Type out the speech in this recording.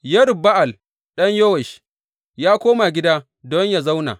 Yerub Ba’al ɗan Yowash ya koma gida don yă zauna.